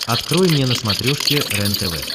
открой мне на смотрешке рентв